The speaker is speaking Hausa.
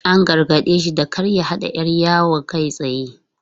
An gargade shi da kar ya haɗa 'yar yawon kai tsaye.